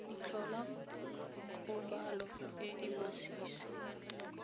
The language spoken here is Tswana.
tlhola kgobalo e e masisi